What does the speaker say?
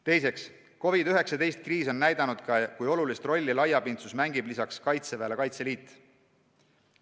Teiseks, COVID-19 kriis on näidanud, kui olulist rolli laiapindsuses mängib lisaks Kaitseväele Kaitseliit.